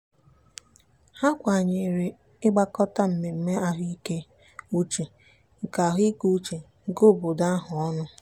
ha kwenyere ịgbakọta mmemme ahụikeuche nke ahụikeuche nke obodo ahụ ọnụ.